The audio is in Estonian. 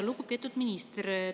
Lugupeetud minister!